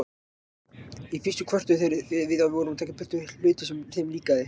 Í fyrstu kvörtuðu þeir því við vorum að taka í burtu hluti sem þeim líkaði.